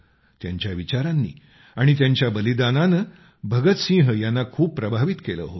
त्यांच्या विचारांनी आणि त्यांच्या बलिदानानं भगत सिंह यांना खूप प्रभावित केलं होतं